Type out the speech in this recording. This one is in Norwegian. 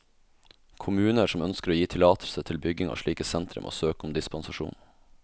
Kommuner som ønsker å gi tillatelse til bygging av slike sentre, må søke om dispensasjon.